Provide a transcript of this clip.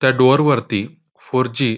त्या डोर वरती four G --